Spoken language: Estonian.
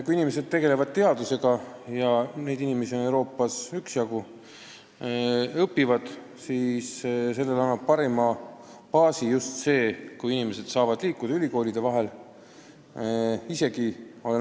Kui inimesed tegelevad teadusega – ja neid inimesi on Euroopas üksjagu – või õpivad, siis sellele annab parima baasi just see, kui inimesed saavad ülikoolide vahel liikuda.